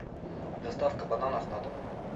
доставка бананов на дом